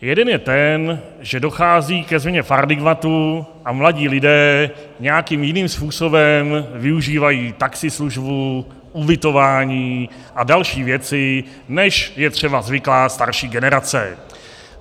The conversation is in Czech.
Jeden je ten, že dochází ke změně paradigmatu a mladí lidé nějakým jiným způsobem využívají taxislužbu, ubytování a další věci, než je třeba zvyklá starší generace.